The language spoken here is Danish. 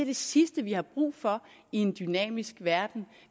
det sidste vi har brug for i en dynamisk verden